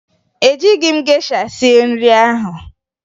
Ejighi m gesha sie nri ahụ